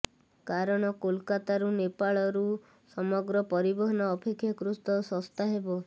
କାରଣ କୋଲକାତାରୁ ନେପାଳରୁ ସାମଗ୍ରୀ ପରିବହନ ଅପେକ୍ଷାକୃତ ଶସ୍ତା ହେବ